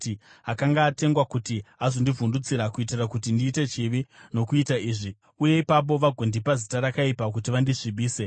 Akanga atengwa kuti azondivhundutsira kuitira kuti ndiite chivi nokuita izvi, uye ipapo vagondipa zita rakaipa kuti vandisvibise.